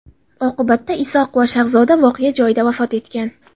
Oqibatda Isoqova Shahzoda voqea joyida vafot etgan.